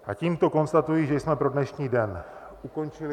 A tímto konstatuji, že jsme pro dnešní den ukončili...